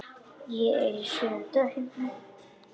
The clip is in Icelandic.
Ég er í sjöunda himni.